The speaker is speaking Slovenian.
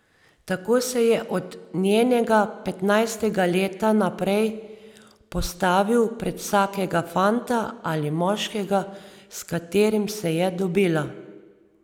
Tako se je od njenega petnajstega leta naprej postavil pred vsakega fanta ali moškega, s katerim se je dobila.